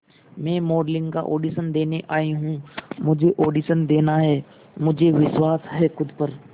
मैं मॉडलिंग का ऑडिशन देने आई हूं मुझे ऑडिशन देना है मुझे विश्वास है खुद पर